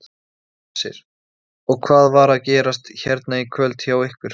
Hersir: Og hvað var að gerast hérna í kvöld hjá ykkur?